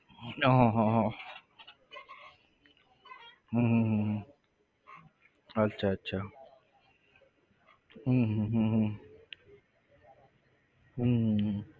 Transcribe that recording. હમ હમ હમ હમ હમ હમ હમ અચ્છા અચ્છા હમ હમ હમ હમ હમ